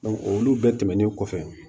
olu bɛɛ tɛmɛnen kɔfɛ